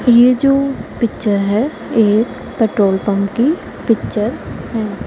ये जो पिक्चर है एक पेट्रोल पंप की पिक्चर है।